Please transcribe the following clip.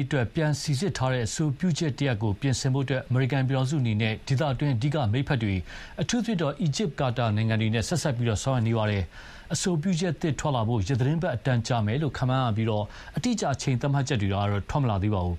အတွက် ပြန်စိစစ်ထားတဲ့ အဆိုပြုချက်တရပ်ပြင်ဆင်ဖို့ အမေရိကန်ပြည်ထောင်စုအနေနဲ့ ဒေသတွင်းအဓိကမိတ်ဖက်တွေ အထူးသဖြင့် အီဂျစ်၊ ကာတာနိုင်ငံတွေနဲ့ ဆက်စပ်ဆောင်ရွက်နေပါတယ်။ အဆိုပြုချက်သစ်ထွက်လာဖို့ ရက်သီတင်းပတ်အတန်ကြာမယ်လို့ ခန့်မှန်းရပြီး အတိအကျ အချိန်သတ်မှတ်ချက်တွေတော့ ထွက်မလာပါဘူး